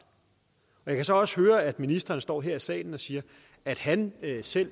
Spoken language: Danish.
jeg kan så også høre at ministeren står her i salen og siger at han selv